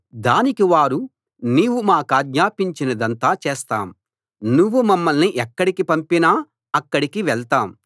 దానికి వారు నీవు మా కాజ్ఞాపించినదంతా చేస్తాం నువ్వు మమ్మల్ని ఎక్కడికి పంపినా అక్కడికి వెళ్తాం